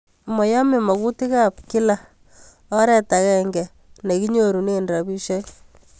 Mayome makutik ap kila oret akenge ne kenyorune rapisyek